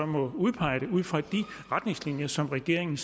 må udpege det ud fra de retningslinjer som regeringen